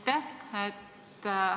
Aitäh!